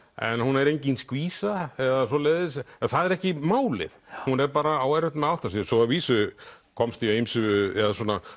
en hún er engin skvísa eða svoleiðis en það er ekki málið hún bara á erfitt með að átta sig svo að vísu komst ég að ýmsu eða